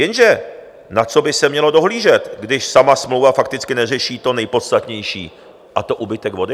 Jenže na co by se mělo dohlížet, když sama smlouva fakticky neřeší to nejpodstatnější, a to úbytek vody?